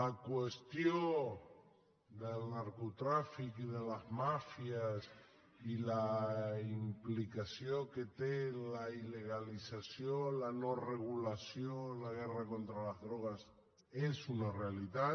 la qüestió del narcotràfic i de les màfies i la implicació que té la il·legalització la no regulació la guerra contra les drogues és una realitat